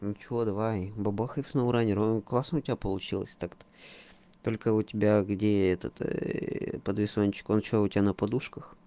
ну что давай бабахай в сноу ранер он классно у тебя получилось так то только у тебя где этот подвесончик он что у тебя сна подушках